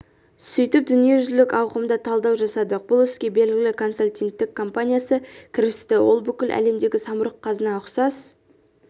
сөйтіп дүниежүзілік ауқымда талдау жасадық бұл іске белгілі консалтингтік компаниясы кірісті ол бүкіл әлемдегі самұрық-қазына ұқсас